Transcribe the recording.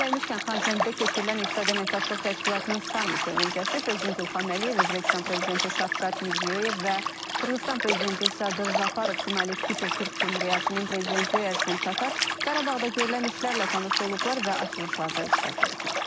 Yeri gəlmişkən, Xankəndidə keçirilən İqtisadi Əməkdaşlıq Təşkilatının Sammiti öncəsi Prezident İlham Əliyev, Özbəkistan Prezidenti Şavkat Mirziyoyev və Qırğızıstan Prezidenti Sadır Japarov, Şimali Kipr Türk Cümhuriyyətinin Prezidenti Ersin Tatar Qarabağda görülən işlərlə tanış olublar və açılışlarda iştirak ediblər.